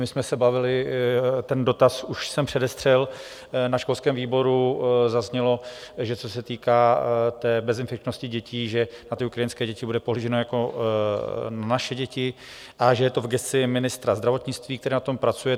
My jsme se bavili, ten dotaz už jsem předestřel, na školském výboru zaznělo, že co se týká té bezinfekčnosti dětí, že na ty ukrajinské děti bude pohlíženo jako na naše děti a že je to v gesci ministra zdravotnictví, který na tom pracuje.